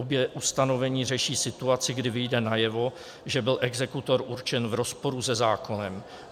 Obě ustanovení řeší situaci, kdy vyjde najevo, že byl exekutor určen v rozporu se zákonem.